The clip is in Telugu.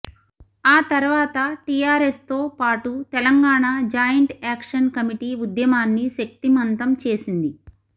ఆ తర్వాత టీఆర్ఎస్తో పాటు తెలంగాణ జాయింట్ యాక్షన్ కమిటీ ఉద్యమాన్ని శక్తిమంతం చేసింది